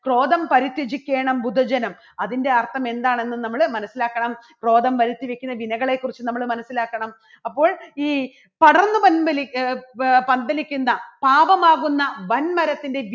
ക്രോധം പരിത്യജിക്കേണം ഭുഭജനം അതിൻറെ അർത്ഥം എന്താണെന്ന് നമ്മള് മനസ്സിലാക്കണം. ക്രോധം പരിത്യജിക്കണ ദിനകളെക്കുറിച്ച് നമ്മള് മനസ്സിലാക്കണം അപ്പോൾ ഈ പടർന്നു പന്തലി ഏ പന്തലിക്കുന്ന പാപം ആകുന്ന വൻമരത്തിന്റെ